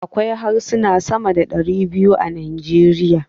Akwai harsuna sama da ɗari biyu a Najeriya.